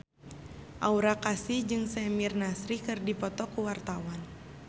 Aura Kasih jeung Samir Nasri keur dipoto ku wartawan